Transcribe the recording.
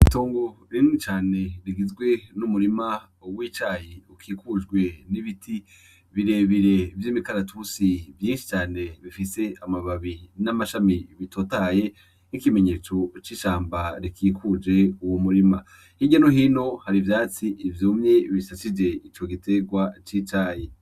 Inyana yinka iryamye mu bunyovu biboneka ko imeze neza impande yayo hari inyoni zibiri zifise ibara ryera na zo zitekanye zimeze neza biboneka ko zibanye mu mahoro.